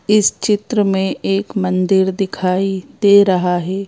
इस चित्र में एक मंदिर दिखाई दे रहा है।